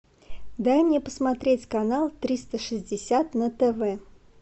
дай мне посмотреть канал триста шестьдесят на тв